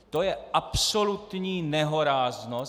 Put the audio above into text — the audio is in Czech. To je absolutní nehoráznost!